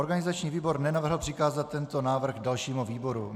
Organizační výbor nenavrhl přikázat tento návrh dalšímu výboru.